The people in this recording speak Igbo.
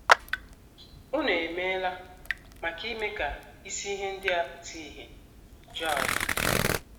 Unu emeela maka ime ka isi ihe ndị a pụta ìhè. ” Joy.